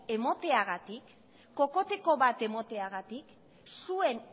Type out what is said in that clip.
emateagatik kokoteko bat emateagatik zuen